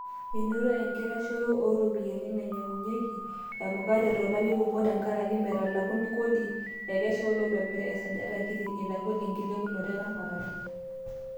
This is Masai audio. Enoto enkitashoito iropiyiani naanyiangunyiaki emukati too lari kumok tenkaraki metalakuni kodi, ekesha latobirak tesajati kiti eitagol enkilepunoto eramatare.